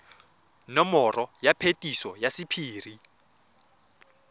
nomoro ya phetiso ya sephiri